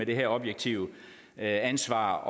det objektive ansvar